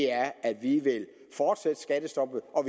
er at vi vil fortsætte skattestoppet og